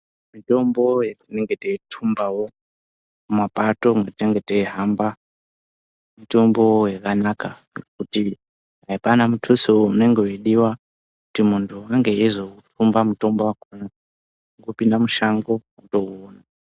Mitombo yetinenge teitumbavo mumapato mwetinenge teihamba. Mitombo yakanaka kuti hapana mutuso unenge veidiva. Kuti muntu unenge eizoutumba mutombo yakona kungopinda mushango votouona.